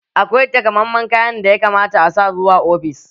Akwai taƙammamen kayan da ya kamata a sa zuwa ofis